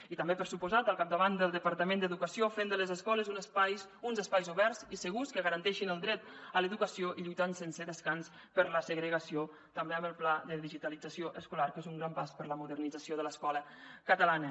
i també per descomptat al capdavant del departament d’educació fent de les escoles uns espais oberts i segurs que garanteixin el dret a l’educació i lluitant sense descans contra la segregació també amb el pla de digitalització escolar que és un gran pas per a la modernització de l’escola catalana